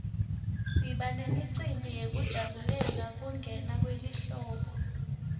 siba nemicimbi yekujabulela kungena kwelihlobo